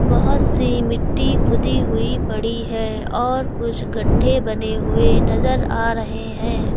बहोत सी मिट्टी खुदी हुई पड़ी है और कुछ गड्ढे बने हुए नजर आ रहे हैं।